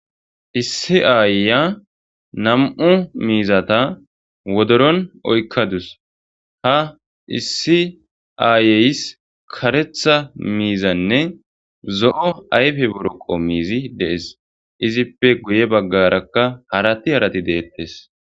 Issi ayiya nam'u miizata wodoron oykadus ha issi ayeyssi kareththa miizamne zo'o ayfe boroqo miizi de'es izippe guye baggarakka jarati harati deettes